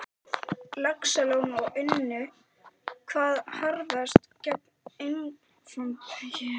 Laxalóns og unnu hvað harðast gegn einkaframtaki mínu.